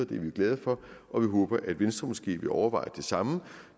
det er vi glade for og vi håber at venstre måske vil overveje det samme